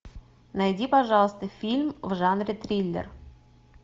найди пожалуйста фильм в жанре триллер